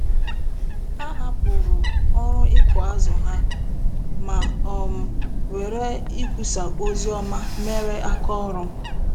Ha hapụrụ ọrụ ịkụ azụ ha, ma um were ikwusa ozi ọma mere aka ọrụ.